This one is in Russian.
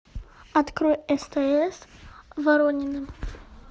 открой стс воронины